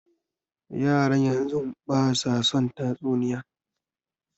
Yaran yanzun basu son tatsuniya